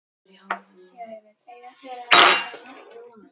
Eiga þeir þá nokkra von.